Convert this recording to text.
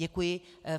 Děkuji.